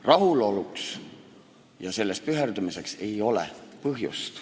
Rahuloluks ja selles püherdamiseks ei ole põhjust.